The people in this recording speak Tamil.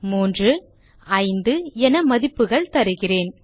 3 மற்றும் 5 என மதிப்புகள் தருகிறேன்